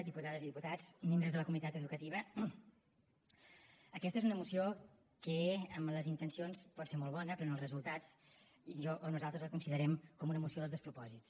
diputades i diputats membres de la comunitat educativa aquesta és una moció que en les intencions pot ser molt bona però en els resultats jo o nosaltres la considerem com a una moció dels despropòsits